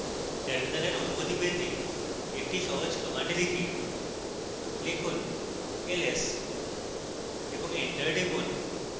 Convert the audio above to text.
terminal অনুভূতি পেতে একটি সহজ command type লিখুন ls এবং এন্টার টিপুন